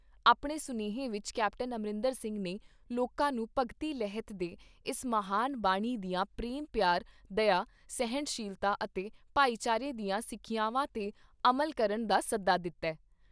ਆਪਣੇ ਸੁਨੇਹੇ ਵਿਚ ਕੈਪਟਨ ਅਮਰਿੰਦਰ ਸਿੰਘ ਨੇ ਲੋਕਾਂ ਨੂੰ ਭਗਤੀ ਲਹਿਤ ਦੇ ਇਸ ਮਹਾਨ ਬਾਨੀ ਦੀਆਂ ਪ੍ਰੇਮ ਪਿਆਰ, ਦਯਾ, ਸਹਿਣਸ਼ੀਲਤਾ ਅਤੇ ਭਾਈਚਾਰੇ ਦੀਆਂ ਸਿੱਖਿਆਵਾਂ ਤੇ ਅਮਲ ਕਰਨ ਦਾ ਸੱਦਾ ਦਿੱਤਾ ।